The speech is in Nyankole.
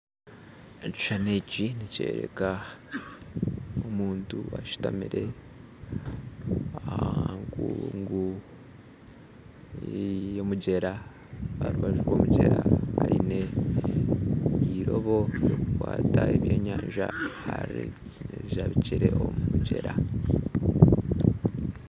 Ekishushani eki nikyoreka omuntu ashutami aha nkungu y'omugyera aha rubaju rw'omugyera aine eirobo ery'okukwata ebyenyanja arijabikire omu mugyera.